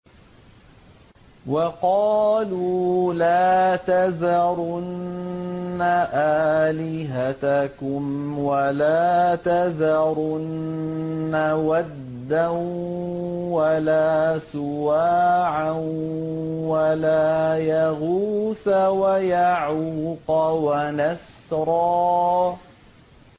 وَقَالُوا لَا تَذَرُنَّ آلِهَتَكُمْ وَلَا تَذَرُنَّ وَدًّا وَلَا سُوَاعًا وَلَا يَغُوثَ وَيَعُوقَ وَنَسْرًا